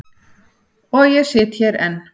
Og ég sit hér enn.